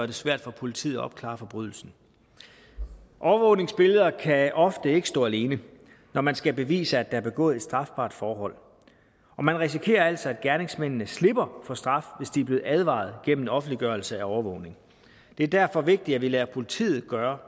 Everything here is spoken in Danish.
det svært for politiet at opklare forbrydelsen overvågningsbilleder kan ofte ikke stå alene når man skal bevise at der er begået et strafbart forhold og man risikerer altså at gerningsmændene slipper for straf hvis de er blevet advaret gennem offentliggørelse af overvågning det er derfor vigtigt at vi lader politiet gøre